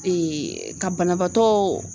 Eee ka banabaatɔ